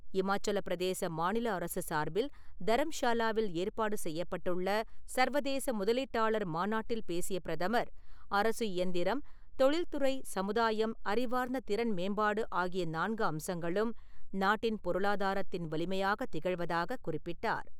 இமாச்சலப்பிரதேச மாநில அரசு சார்பில் தரம்ஷாலாவில் ஏற்பாடு செய்யப்பட்டுள்ள சர்வதேச முதலீட்டாளர் மாநாட்டில் பேசிய பிரதமர், அரசு இயந்திரம், தொழில் துறை, சமுதாயம், அறிவார்ந்த திறன் மேம்பாடு ஆகிய நான்கு அம்சங்களும் நாட்டின் பொருளாதாரத்தின் வலிமையாகத் திகழ்வதாகக் குறிப்பிட்டார்.